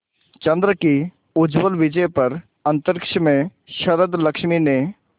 चंद्र की उज्ज्वल विजय पर अंतरिक्ष में शरदलक्ष्मी ने